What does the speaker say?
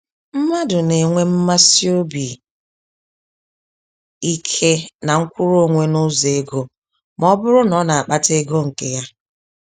Mmadụ nenwe mmasị obi ike na mkwụrụ-onwe nụzọ ego, mọbụrụ na ọ n'akpata ego nke ya.